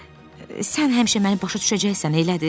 sən həmişə məni başa düşəcəksən, elədir?